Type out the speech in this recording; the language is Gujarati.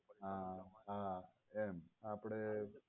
હા હા એમ આપણે